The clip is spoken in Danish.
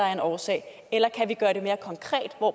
af en årsag eller kan vi gøre det mere konkret